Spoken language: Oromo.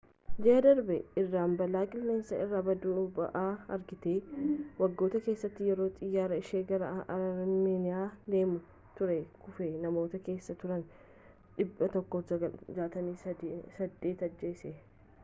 ji'a darbe iraan balaa qilleensa irraa baddu-ba'aa argite waggoota keessatti yeroo xiyyarri ishee gara armeeniyaa deemaa ture kufee namoota keessa turan 168 ajjeesse